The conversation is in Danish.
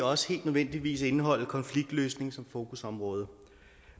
også helt nødvendigvis indeholde konfliktløsning som fokusområde